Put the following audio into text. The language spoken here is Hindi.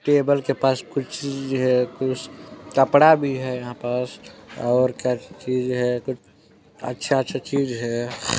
टेबल के पास कुछ चीज है कुछ कपड़ा भी है यहाँ पस और क्या चीज है अच्छा-अच्छा चीज है।